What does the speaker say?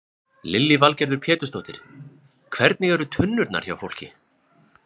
Lillý Valgerður Pétursdóttir: Hvernig eru tunnurnar hjá fólki?